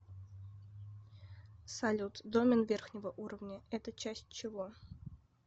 салют домен верхнего уровня это часть чего